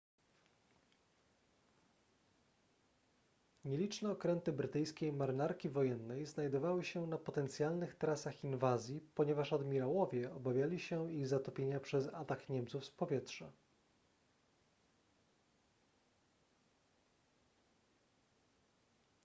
nieliczne okręty brytyjskiej marynarki wojennej znajdowały się na potencjalnych trasach inwazji ponieważ admirałowie obawiali się ich zatopienia przez atak niemców z powietrza